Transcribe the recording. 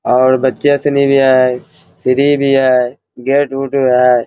और भी है सीढ़ी भी है गेट उट भी है |